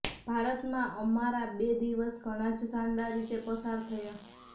ભારતમાં અમારા બે દિવસ ઘણા જ શાનદાર રીતે પસાર થયા